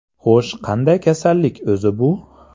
Xo‘sh, qanday kasallik o‘zi bu?